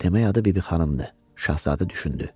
Demək adı Bibi xanımdır, Şahzadə düşündü.